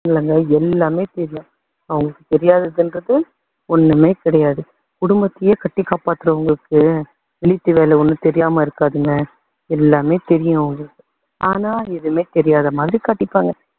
இல்லங்க எல்லாமே தெரியும். அவங்களுக்கு தெரியாததுன்றது ஒண்ணுமே கிடையாது. குடும்பத்தையே கட்டி காப்பாத்துறவங்களுக்கு வேலை ஒண்ணும் தெரியாம இருக்காதுங்க. எல்லாமே தெரியும் அவங்களுக்கு. ஆனா எதுவுமே தெரியாத மாதிரி காட்டிப்பாங்க.